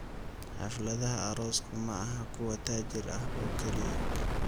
Xafladaha aroosku maaha kuwa taajir ah oo keliya.